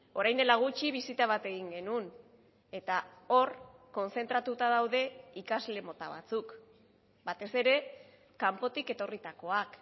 orain dela gutxi bisita bat egin genuen eta hor kontzentratuta daude ikasle mota batzuk batez ere kanpotik etorritakoak